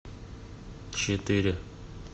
четыре